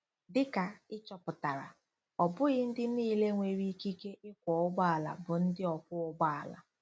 Dị ka ị chọpụtara, ọ bụghị ndị niile nwere ikike ịkwọ ụgbọala bụ ndị ọkwọ ụgbọ ala.